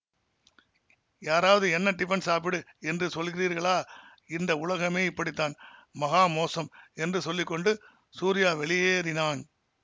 யாராவது என்ன டிபன் சாப்பிடு என்று சொல்லுகிறீர்களா இந்த உலகமே இப்படித்தான் மகா மோசம் என்று சொல்லி கொண்டு சூரியா வெளியேறினான்